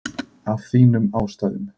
Af þínum ástæðum.